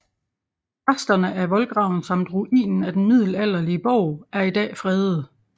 Resterne af voldgraven samt ruinen af den middelalderlige borg er i dag fredede